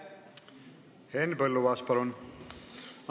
Henn Põlluaas, palun!